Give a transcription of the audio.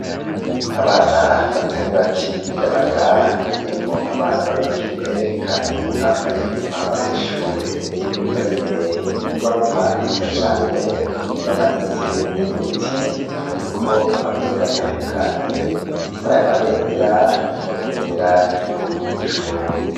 abana batari bake b'imiyabaga hagwiriyemwo abana babigeme kandi bambaye umwambaro w'ishure bari mbere y'inyubakwa nziza cane bamanitse uduti turiko amabendera atandukanye murayo mabendera harimwo ibendera ry'igihugu c'uburundi